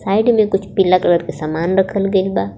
Side में कुछ पीला कलर के समान रखल गइल बा।